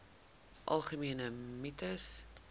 algemene mites